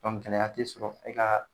Dɔnku gɛlɛya te sɔrɔ e ka